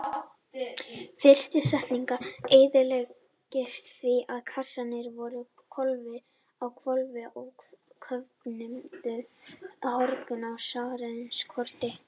Fyrsta sendingin eyðilagðist því að kassarnir voru á hvolfi og köfnuðu hrognin af súrefnisskorti.